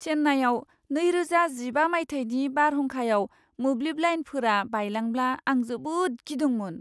चेन्नाईआव नैरोजा जिबा मायथाइनि बारहुंखायाव मोब्लिब लाइनफोरा बायलांब्ला आं जोबोद गिदोंमोन।